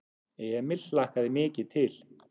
Emil hlakkaði mikið til.